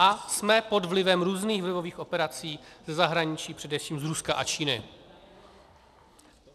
A jsme pod vlivem různých vlivových operací ze zahraničí, především z Ruska a Číny.